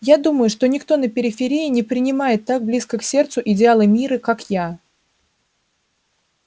я думаю что никто на периферии не принимает так близко к сердцу идеалы мира как я